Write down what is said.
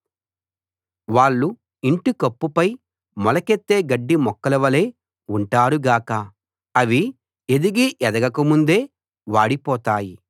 వాళ్ళు ఇంటికప్పుపై మొలకెత్తే గడ్డిమొక్కలవలె ఉంటారు గాక అవి ఎదిగీ ఎదగక ముందే వాడిపోతాయి